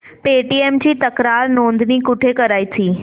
Paytm ची तक्रार नोंदणी कुठे करायची